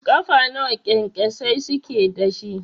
Ƙafa nawa kyankyasai suke dashi?